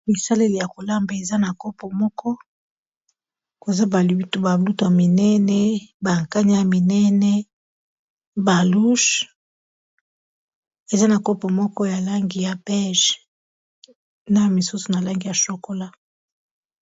Bisaleli ya kolamba eza na kopo moko. Eza ba lutu minene, ba kanya ya minene. Ba luche, eza na kopo moko ya langi ya pege, na misusu na langi ya shokola.